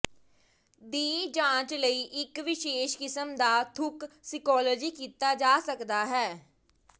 ਦੀ ਜਾਂਚ ਲਈ ਇਕ ਵਿਸ਼ੇਸ਼ ਕਿਸਮ ਦਾ ਥੁੱਕ ਸਕਿਊਲੋਜੀ ਕੀਤਾ ਜਾ ਸਕਦਾ ਹੈ